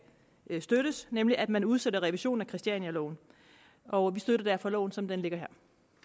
støttes nemlig at man udsætter revisionen af christianialoven og vi støtter derfor loven som den ligger her